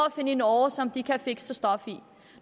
at finde en åre som de kan fikse stof i